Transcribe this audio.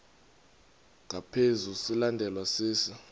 ngaphezu silandelwa sisi